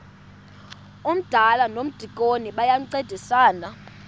umdala nomdikoni bayancedisana